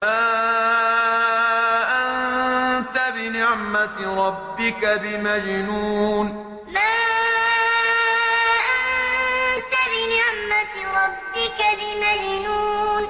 مَا أَنتَ بِنِعْمَةِ رَبِّكَ بِمَجْنُونٍ مَا أَنتَ بِنِعْمَةِ رَبِّكَ بِمَجْنُونٍ